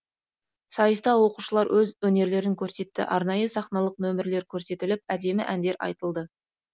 сайыста оқушылар өз өнерлерін көрсетті арнайы сахналық нөмірлер көрсетіліп әдемі әндер айтылды